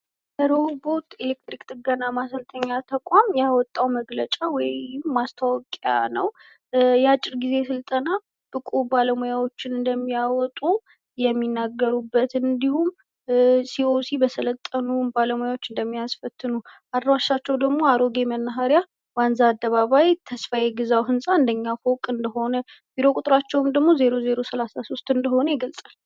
ሮኆቦት የኤሌክትሪክ ጥገና ማሰልጠኛ ተቋም ያወጣው መግለጫ ወይም ማስታወቂያ ነው። የአጭር ጊዜ ስልጠና ብቁ ባለሙያዎችን እንደሚያወጡ የሚናገሩበት እንዲሁም ሲኦሲ በሰለጠኑ ባለሙያወች እንደሚያስፈትኑ አድራሻቸው ደግሞ አሮጌ መናሀሪያ ዋንዛ አደባባይ ተስፋዬ ግዛው ህንፃ አንደኛ ፎቅ እንደሆነ ቢሮ ቁጥራቸው ደግሞ ዜሮ ዜሮ ሰላሳ ሶስት እንደሆነ ይገልፃል።